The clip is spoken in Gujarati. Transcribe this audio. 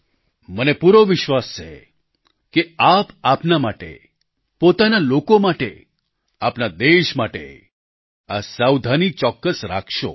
મને પૂરો વિશ્વાસ છે કે આપ આપના માટે પોતાના લોકો માટે આપના દેશ માટે આ સાવધાની ચોક્કસ રાખશો